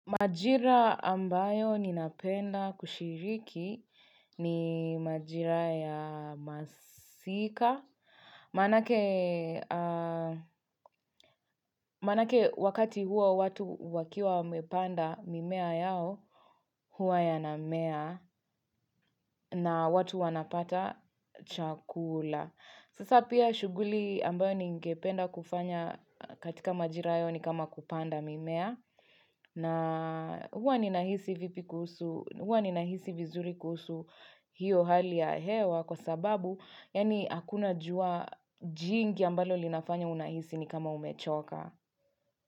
Majira ambayo ninapenda kushiriki ni majira ya masika Manake wakati huo watu wakiwa wamepanda mimea yao hua yanamea na watu wanapata chakula Sasa pia shuguli ambayo ningependa kufanya katika majira hayo ni kama kupanda mimea na huwa ni nahisi vizuri kuhusu hiyo hali ya hewa kwa sababu, yani akuna jua jingi ambalo linafanya unahisi ni kama umechoka.